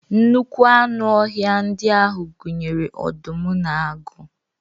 Nnukwu anụ ọhịa ndị ahụ gụnyere ọdụm na agụ